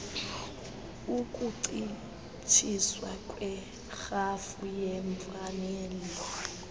ukuncitshiswa kwerhafu yeemfanelo